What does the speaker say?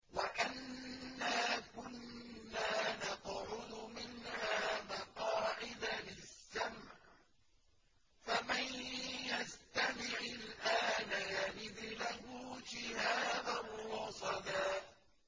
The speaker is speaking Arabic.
وَأَنَّا كُنَّا نَقْعُدُ مِنْهَا مَقَاعِدَ لِلسَّمْعِ ۖ فَمَن يَسْتَمِعِ الْآنَ يَجِدْ لَهُ شِهَابًا رَّصَدًا